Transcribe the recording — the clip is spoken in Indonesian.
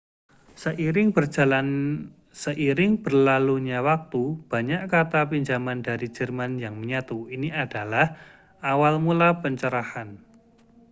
seiring berlalunya waktu banyak kata pinjaman dari jerman yang menyatu ini adalah awal mula pencerahan